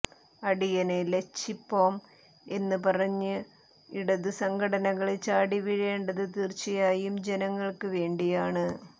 അടിയന് ലച്ചിപ്പോം എന്ന് പറഞ്ഞ് ഇടതു സംഘടനകള് ചാടിവീഴേണ്ടത് തീര്ച്ചയായും ജനങ്ങള്ക്ക് വേണ്ടിയാണ്